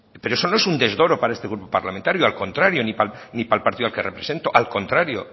pero eso no es un desdoro para este grupo parlamentario al contrario ni para el partido que represento